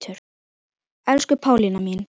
Elsku Pálína mín.